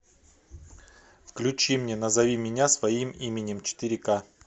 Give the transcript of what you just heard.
включи мне назови меня своим именем четыре ка